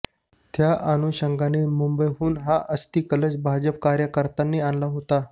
त्या अनुषंगाने मुंबईहून हा अस्थीकलश भाजप कार्यकर्त्यांनी आणला होता